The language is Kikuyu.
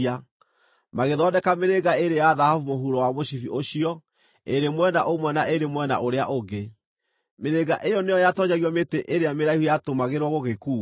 Magĩthondeka mĩrĩnga ĩĩrĩ ya thahabu mũhuro wa mũcibi ũcio, ĩĩrĩ mwena ũmwe na ĩĩrĩ mwena ũrĩa ũngĩ. Mĩrĩnga ĩyo nĩyo yatoonyagio mĩtĩ ĩrĩa mĩraihu yatũmagĩrwo gũgĩkuua.